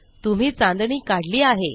तुम्ही चांदणी काढली आहे